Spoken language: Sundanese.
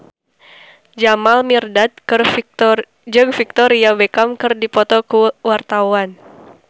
Jamal Mirdad jeung Victoria Beckham keur dipoto ku wartawan